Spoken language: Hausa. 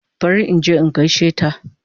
Bari inje in gaishe ta